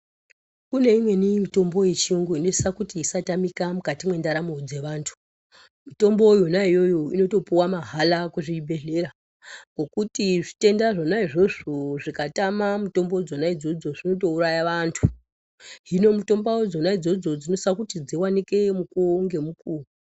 Kune imweni mitombo yechiyungu inosisa kuti isatamika mukati mwendaramo dzevantu. Mitombo yona iyoyo inotopuwa mahala kuzvibhedhlera, ngokuti zvitenda zvona izvozvo zvikatama mitombo dzona idzodzo zvinotouraya vaantu. Hino mitombo dzona idzodzo dzinosisa kuti dziwanike mukuwo ngemukuwo.